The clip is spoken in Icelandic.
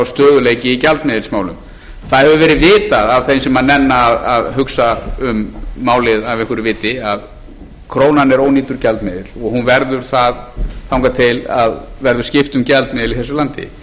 stöðugleiki í gjaldmiðilsmálum það hefur verið vitað af þeim sem nenna að hugsa um málið af einhverju viti að krónan er ónýtur gjaldmiðill og hún verður það þangað til verður skipt um gjaldmiðil í þessu landi